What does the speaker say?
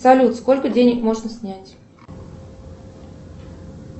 салют сколько денег можно снять